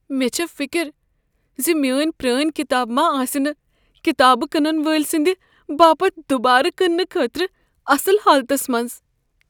مےٚ چھ فکر ز میٛٲنہِ پرٛٲنۍ کتاب ما آسنہٕ كتابہٕ كنن وٲلۍ سٕنٛدِ باپت دُبارٕ كنٛنہٕ خٲطرٕ اصل حالتس منٛز۔